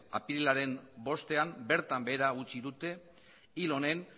apirilaren bostean bertan behera utzi dute hil honen